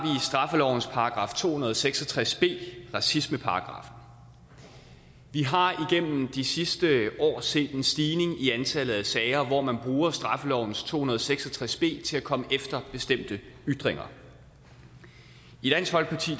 straffelovens § to hundrede og seks og tres b racismeparagraffen vi har igennem de sidste år set en stigning i antallet af sager hvor man bruger straffelovens § to hundrede og seks og tres b til at komme efter bestemte ytringer i dansk folkeparti